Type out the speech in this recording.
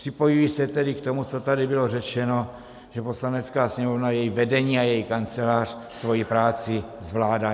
Připojuji se tedy k tomu, co tady bylo řečeno, že Poslanecká sněmovna, její vedení a její Kancelář svoji práci zvládá.